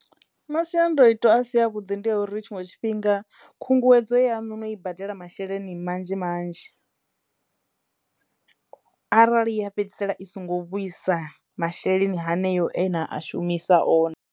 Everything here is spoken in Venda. Masiandoitwa a si a vhuḓi ndi ya uri tshiṅwe tshifhinga khunguwedzo yaṋu no I badela masheleni manzhi manzhi. Arali ya fhedzisela i songo vhuisa masheleni haneyo ena a shumisa one.